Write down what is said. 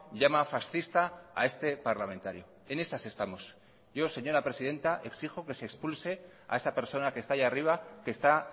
llama fascista a este parlamentario en esas estamos yo señora presidenta exijo que se expulse a esa persona que está ahí arriba que está